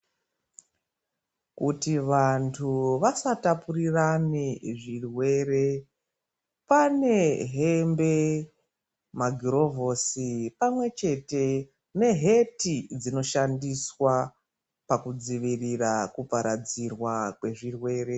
Kuti vantu vasatapurirane zvirwere, pane hembe, magirovhosi pamwechete neheti dzinoshandiswa pakudzivirira kuparadzirwa kwezvirwere.